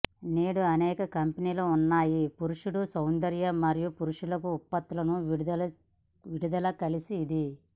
నేడు అనేక కంపెనీలు ఉన్నాయి పురుషుడు సౌందర్య మరియు పురుషులకు ఉత్పత్తులను విడుదల కలిసి ఇది